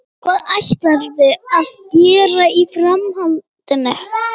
Hvað ætlarðu að gera í framhaldinu?